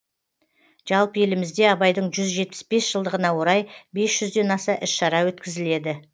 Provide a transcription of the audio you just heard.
жалпы елімізде абайдың жүз жетпіс бес жылдығына орай бес жүзден аса іс шара өткізіледі